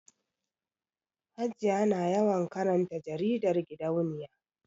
Hajiya na yawan karanta jaridar gidauniya